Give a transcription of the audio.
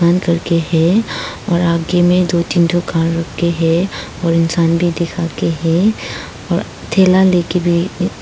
करके है और आगे में दो तीन दुकान रखे हैं और इंसान भी दिखा के है और थैला ले के भी